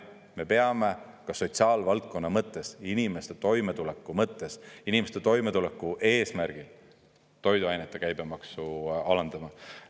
Me peame ka sotsiaalvaldkonna mõttes, inimeste toimetuleku mõttes, inimeste toimetuleku eesmärgil toiduainete käibemaksu alandama.